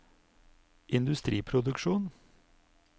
industriproduksjon